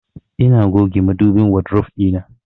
Ina goge madubin wadrof ɗina.